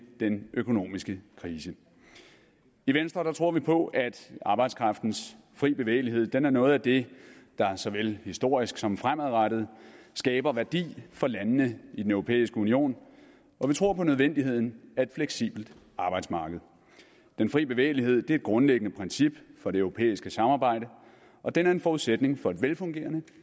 den økonomiske krise i venstre tror vi på at arbejdskraftens fri bevægelighed er noget af det der såvel historisk som fremadrettet skaber værdi for landene i den europæiske union og vi tror på nødvendigheden af et fleksibelt arbejdsmarked den fri bevægelighed er et grundlæggende princip for det europæiske samarbejde og den er en forudsætning for et velfungerende